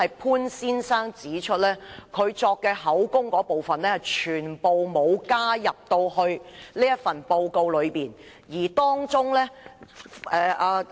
潘先生特別指出，他所作的口供全部都沒有記載在報告之中。